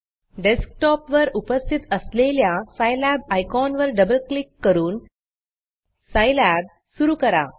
desktop वर उपस्थित असलेल्या Scilabसाईलॅब आयकॉन वर डबल क्लिक करून Scilabसाईलॅब सुरू करा